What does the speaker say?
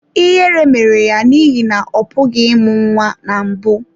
Ihere mere ya n’ihi na ọ pụghị ịmụ nwa na mbụ.